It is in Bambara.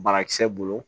Barakisɛ bolo